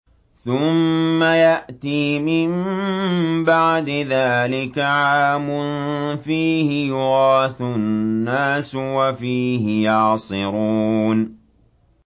ثُمَّ يَأْتِي مِن بَعْدِ ذَٰلِكَ عَامٌ فِيهِ يُغَاثُ النَّاسُ وَفِيهِ يَعْصِرُونَ